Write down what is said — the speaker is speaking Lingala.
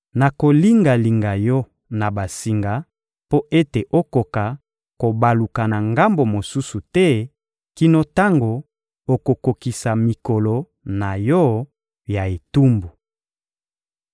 Nakolinga-linga yo na basinga mpo ete okoka kobaluka na ngambo mosusu te kino tango okokokisa mikolo na yo ya etumbu.